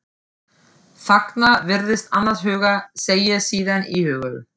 Þagnar, virðist annars hugar, segir síðan íhugul